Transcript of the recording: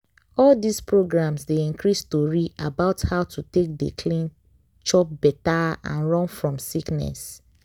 all dis programs dey increase tori about how to take dey clean chop better and run fom sickness.